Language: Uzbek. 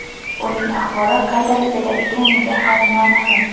Uning ahvoli qay darajada ekanligi hali noma’lum.